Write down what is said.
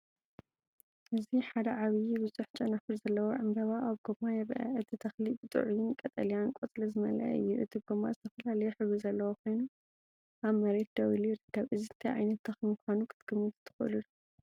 እዚ ሓደ ዓቢይ ብዙሕ ጨናፍር ዘለዎ ዕምባባ ኣብ ጎማ ይረአ። እቲ ተኽሊ ብጥዑይን ቀጠልያን ቆጽሊ ዝመልአ እዩ። እቲ ጎማ ዝተፈላለየ ሕብሪ ዘለዎ ኮይኑ ኣብ መሬት ደው ኢሉ ይርከብ። እዚ እንታይ ዓይነት ተኽሊ ምዃኑ ክትግምቱ ትኽእሉ ዶ?